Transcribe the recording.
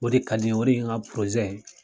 O de ka di n ye, o de ye n ka ye